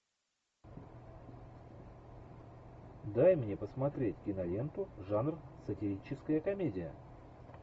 дай мне посмотреть киноленту жанр сатирическая комедия